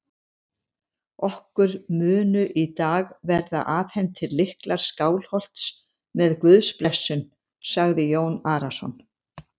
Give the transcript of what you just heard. Okkur munu í dag verða afhentir lyklar Skálholts með Guðs blessun, sagði Jón Arason.